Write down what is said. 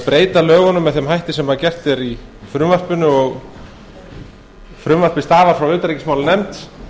breyta lögunum með þeim hætti sem gert er í frumvarpinu frumvarpið stafar frá utanríkismálanefnd